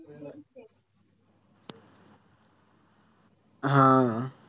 हां